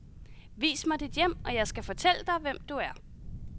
Vis mig dit hjem og jeg skal fortælle dig, hvem du er.